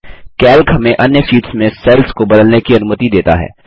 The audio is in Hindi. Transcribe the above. कैल्क हमें अन्य शीट्स में सेल्स को बदलने की अनुमति देता है